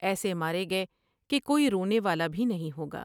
ایسے مارے گئے کہ کوئی رونے والا بھی نہیں ہوگا ۔